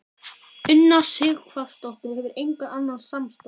Una Sighvatsdóttir: Hefurðu engan annan samastað?